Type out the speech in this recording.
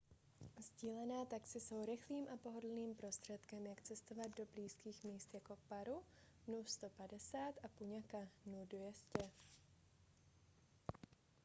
sdílená taxi jsou rychlým a pohodlným prostředkem jak cestovat do blízkých míst jako paro nu 150 a punakha nu 200